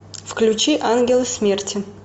включи ангелы смерти